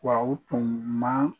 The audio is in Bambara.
Wa u tun ma